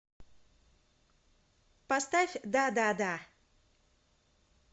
поставь да да да